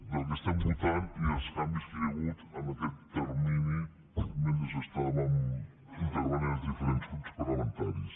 del que estem votant i dels canvis que hi ha hagut en aquest termini mentre estàvem intervenint els diferents grups parlamentaris